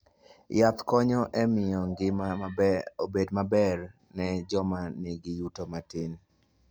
Yath konyo e miyo ngima obed maber ne joma nigi yuto matin.